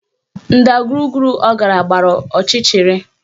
Ndagwurugwu ọ gara gbara ọchịchịrị